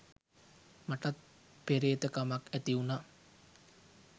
මටත් පෙරේත කමක් ඇතිවුනා